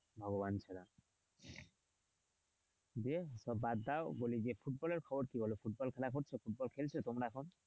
ভগবান ছাড়া দিয়ে বাদ দাও বলি যে ফুটবলের খবর কি বল? ফুটবল খেলা হচ্ছে ফুটবল খেলছো তোমরা এখন?